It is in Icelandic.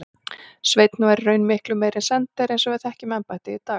Sveinn var í raun miklu meira en sendiherra eins og við þekkjum embættið í dag.